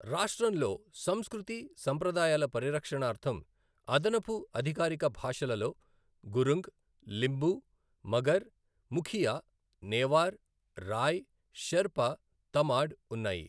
రాష్ట్రంలో సంస్కృతి, సంప్రదాయాల పరిరక్షణార్ధం అదనపు అధికారిక భాషలలో గురుంగ్, లింబు, మగర్, ముఖియా, నేవార్, రాయ్, షెర్పా, తమాడ్ ఉన్నాయి.